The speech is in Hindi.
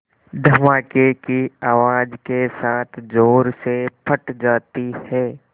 धमाके की आवाज़ के साथ ज़ोर से फट जाती है